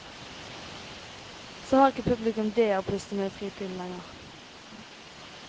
Så har ikke publikum dét å pusle med i fritiden heller.